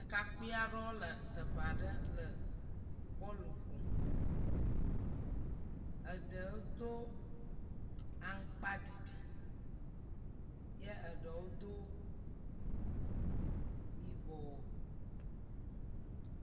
Ɖekakpui aɖewo le teƒe aɖe le bɔl ƒom. Eɖewo do aŋkpaɖiɖi ye ɖewo do yibɔ.